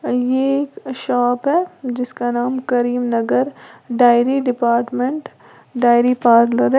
ये एक शॉप है जिसका नाम Karimnagar dairy department dairy parlour है।